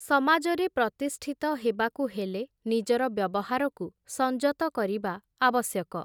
ସମାଜରେ ପ୍ରତିଷ୍ଠିତ ହେବାକୁ ହେଲେ, ନିଜର ବ୍ୟବହାରକୁ ସଂଯତ କରିବା ଆବଶ୍ୟକ ।